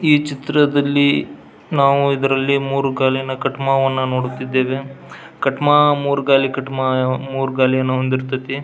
ಈ ಚಿತ್ರದಲ್ಲಿ ನಾವು ಇದರಲ್ಲಿ ಮೂರು ಗಾಲಿನ ಕಟ್ಮಾವನ್ನ ನೋಡುತ್ತಿದ್ದೇವೆ ಕಟ್ಮಾ ಮೂರು ಗಾಲಿನ ಕಟ್ಮಾ ಮೂರು ಗಾಲಿಯನ್ನ ಹೊಂದಿರತೈತಿ.